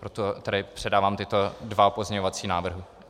Proto tedy předávám tyto dva pozměňovací návrhy.